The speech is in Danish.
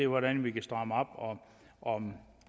hvordan vi kan stramme op og om